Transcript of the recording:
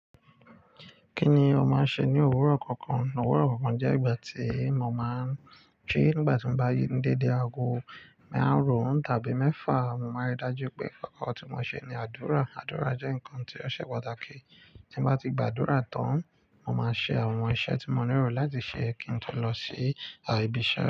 Kí ni ò máa ń ṣe ní òwúrọ̀ kọ̀ọ̀kan? Òwúrọ̀ kọ̀ọ̀kan jẹ́ ìgbà tí mo máa ń jí. Nígbà tí mo bá ń déde ago marun tàbí mẹ́fà, mo máa rí i dájú pé kọ́kọ́ tí mo ṣe ni àdúrà. Àdúrà jẹ́ nǹkan tí ó ṣe pàtàkì. Tí mo bá ti gba àdúrà tán, mo máa ṣe àwọn iṣẹ́ tí mo nílò láti ṣe kí n tó lọ sí ibi iṣẹ́.